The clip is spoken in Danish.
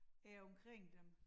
Er omkring dem